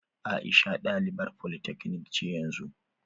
Aisha ɗalibar polytechnic ce yanzu.